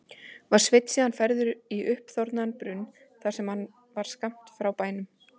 Var Sveinn síðan færður í uppþornaðan brunn sem þar var skammt frá bænum.